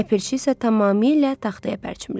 Ləpirçi isə tamamilə taxtaya pərçimlədi.